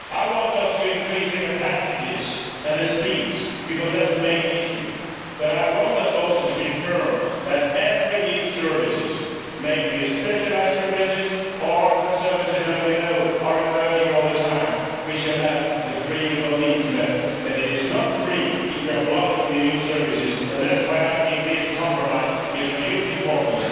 I want us to increase the capacities and the speeds because that is the main issue, but I want us also to be firm that all new services, be they specialised services or the services that we know are emerging all the time, shall have the freedom of the Internet. But it is not free if we are blocking the new services and that is why I think this compromise is of huge importance.